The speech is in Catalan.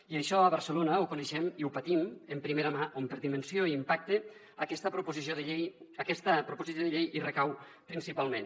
i això a barcelona ho coneixem i ho patim de primera mà on per dimensió i impacte aquesta proposició de llei hi recau principalment